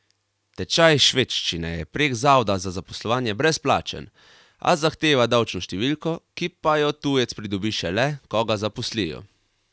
Tečaj švedščine je prek zavoda za zaposlovanje brezplačen, a zahteva davčno številko, ki pa jo tujec pridobi šele, ko ga zaposlijo.